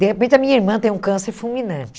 De repente, a minha irmã tem um câncer fulminante.